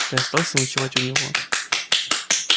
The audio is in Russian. я остался ночевать у него